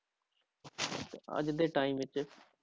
ਤੇ ਅੱਜ ਦੇ time ਵਿੱਚ